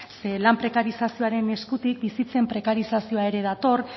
lan prekarizazioaren eskutik bizitzaren prekarizazioa ere dator